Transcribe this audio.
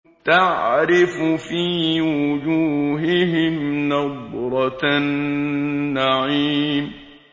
تَعْرِفُ فِي وُجُوهِهِمْ نَضْرَةَ النَّعِيمِ